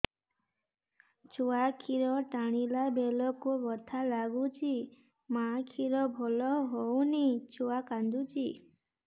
ଛୁଆ ଖିର ଟାଣିଲା ବେଳକୁ ବଥା ଲାଗୁଚି ମା ଖିର ଭଲ ହଉନି ଛୁଆ କାନ୍ଦୁଚି